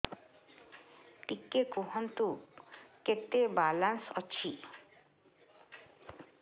ଟିକେ କୁହନ୍ତୁ କେତେ ବାଲାନ୍ସ ଅଛି